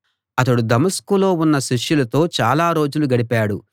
అతడు దమస్కులో ఉన్న శిష్యులతో చాలా రోజులు గడిపాడు